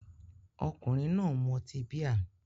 Ọkùnrin náà ń mu ọtí bíà